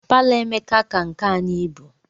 Palo Emeka ka nke anyị ibu.